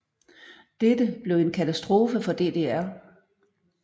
Dette blev en katastrofe for DDR